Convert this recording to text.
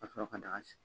Ka sɔrɔ ka daga sigi